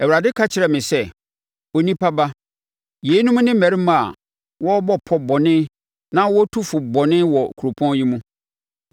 Awurade ka kyerɛɛ me sɛ, “Onipa ba, yeinom ne mmarima a wɔrebɔ pɔ bɔne na wɔtu fo bɔne wɔ kuropɔn yi mu.